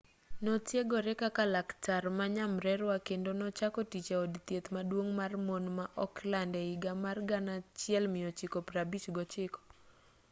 notiegore kaka laktar ma nyamrerwa kendo nochako tich e od thieth maduong' mar mon ma auckland e higa mar 1959